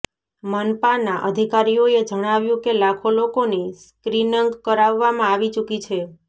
મનપાના અધિકારીઓએ જણાવ્યુ કે લાખો લોકોની સ્ક્રીનંગ કરાવવામાં આવી ચૂકી છે